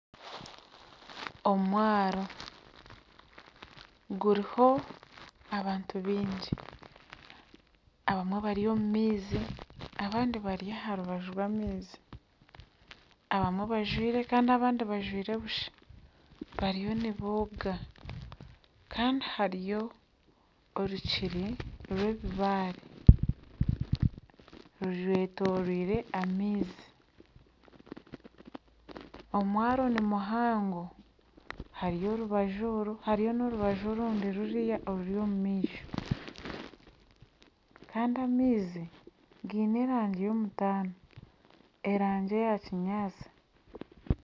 Omwaaro guriho abantu baingi abamwe bari omumaizi abandi bari aharubaju rwamaizi abamwe bajwaire Kandi abandi bajwaire busha bariyo nibooga Kandi hariyo orukiri rwebibaare rwetoreire amaizi omwaaro nimuhango hariyo orubaju oru hariyo norubaju orundi ruri omumaisho Kandi amaizi gaine erangi yomutaano erangi eya kinyatsi